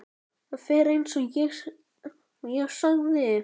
Það fer eins og ég sagði.